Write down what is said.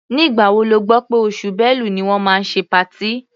Nígbà wo lẹ gbọ́ pé oṣù Bẹ́lu ni wọ́n máa ṣe patí?